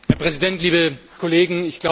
Herr Präsident, liebe Kollegen!